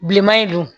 Bilenman in don